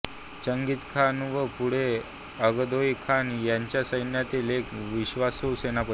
चंगीझ Khan व पुढे Ogedei Khan यांच्या सैन्यातील एक विश्वासू सेनापती